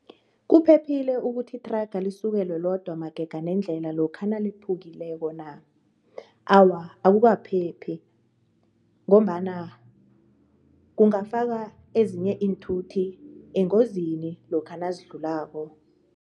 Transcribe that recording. Kuphephile ukuthi ithraga lisukelwe lodwa magega nendlela lokha naliphukileko na? Awa, akukaphephi ngombana kungafaka ezinye iinthuthi engozini lokha nazidlulako.